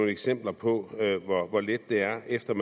eksempler på hvor let det er efter